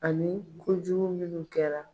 Ani kojugu minnu kɛra.